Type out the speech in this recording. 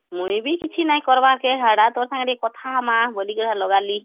ମୁଇଁ ବି କିଛି ନାଇଁ କରବାକେ ହେଡା ତୋ ସାଙ୍ଗରେ କଥା ହଁମା ବୋଲି କି ଲଗାଲୀ